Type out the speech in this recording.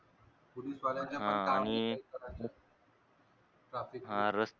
police वाल्यांना पण काम नाही करायचं traffic च